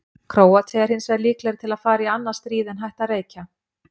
Króatía er hinsvegar líklegri til að fara í annað stríð en hætta að reykja.